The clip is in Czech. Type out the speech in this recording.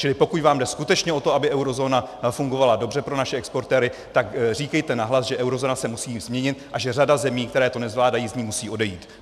Čili pokud vám jde skutečně o to, aby eurozóna fungovala dobře pro naše exportéry, tak říkejte nahlas, že eurozóna se musí změnit a že řada zemí, které to nezvládají, z ní musí odejít.